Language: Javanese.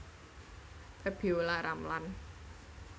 Febiolla Ramlan